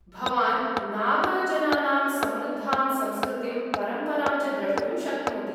भवान् नागाजनानां समृद्धां संस्कृतिं परम्परां च द्रष्टुं शक्नोति।